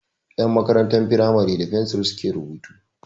Ƴan makarantar firamare da fensir su ke rubutu